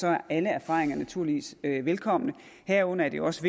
er alle erfaringer naturligvis velkomne herunder er det jo også